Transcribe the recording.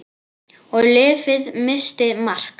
Og lyfið missti marks.